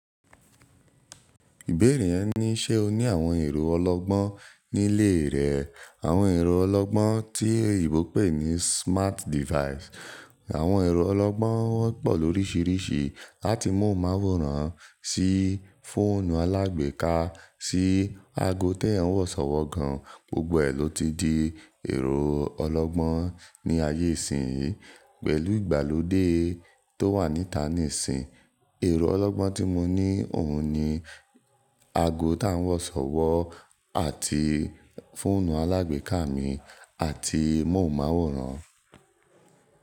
Ìbéèrè yẹn ní “ṣé o ní àwọn ẹ̀rọ ọlọ́gbọ́n nílé rẹ?” Àwọn ẹ̀rọ ọlọ́gbọ́n tí oyinbo pè ní smart device. Àwọn ẹ̀rọ ọlọ́gbọ́n wọ́n pọ̀ lóríṣiríṣi, láti móhùnmáwòrán sí fóònù alágbèéká sí ago tí ẹyań wọ̀sọ̀wọ́ gan. Gbogbo ẹ̀ ló ti di ẹ̀rọ ọlọ́gbọ́n ní ayé ìsìnyí. Pẹ̀lú ìgbàlódé tó wà níta nísínyi, ẹ̀rọ ọlọ́gbọ́n tí mo ní òun ni ago tí a ń wọ̀sọ̀wọ́ àti fóònù alágbèéká mi àti móhùnmáwòrán.